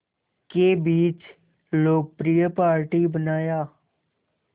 के बीच लोकप्रिय पार्टी बनाया